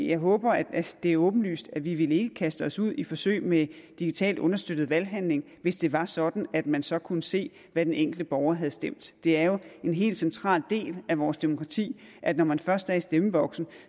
jeg håber at det er åbenlyst at vi ikke ville kaste os ud i forsøg med digitalt understøttet valghandling hvis det var sådan at man så kunne se hvad den enkelte borger havde stemt det er jo en helt central del af vores demokrati at når man først er i stemmeboksen